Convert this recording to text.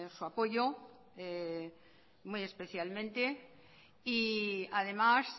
su apoyo muy especialmente y además